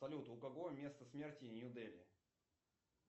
салют у кого место смерти нью дели